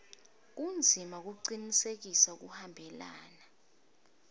kwendzima kucinisekisa kuhambelana